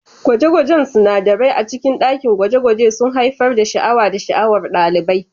Gwaje-gwajen sinadarai a cikin dakin gwaje-gwaje sun haifar da sha'awa da sha'awar ɗalibai.